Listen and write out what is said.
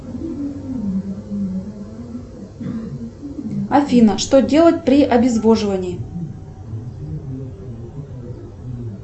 афина что делать при обезвоживании